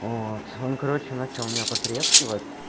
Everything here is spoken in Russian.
вот он короче начал меня потрескивать